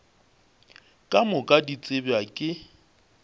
ka moka di tsebja ke